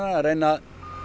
að reyna